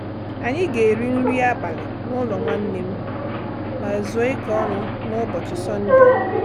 Anyị ga-eri nri abalị n'ụlọ nwanne m, ma zuo ike ọnụ n'ụbọchị Sọndee.